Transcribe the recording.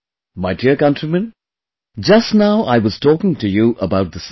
My dear countrymen, just now I was talking to you about the sun